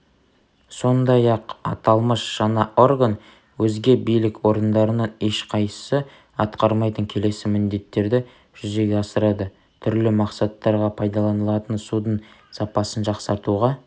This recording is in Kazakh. сондай-ақ аталмыш жаңа орган өзге билік орындарының ешқайсысы атқармайтын келесі міндеттерді жүзеге асырады түрлі мақсаттарға пайдаланылатын судың сапасын жақсартуға